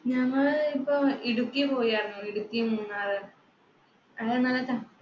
ഞങ്ങള് ഇപ്പൊ ഇടുക്കി പോയാരുന്നു, ഇടുക്കി, മൂന്നാർ